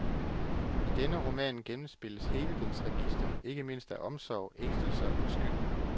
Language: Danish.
I denne roman gennemspilles hele dens register, ikke mindst af omsorg, ængstelse og skyld.